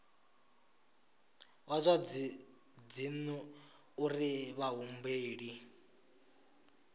wa zwa dzinnu uri vhahumbeli